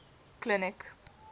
clinic